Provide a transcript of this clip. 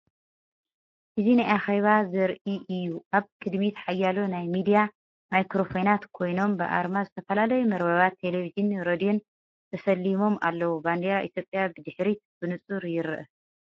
እዚ ናይ ኣኼባ ዘርኢእዩ። ኣብ ቅድሚት ሓያሎ ናይ ሚድያ ማይክሮፎናት ኮይኖም፡ ብኣርማ ዝተፈላለዩ መርበባት ቴሌቪዥንን ሬድዮን ተሰሊሞም ኣለዉ። ባንዴራ ኢትዮጵያ ብድሕሪት ብንጹር ይርአ።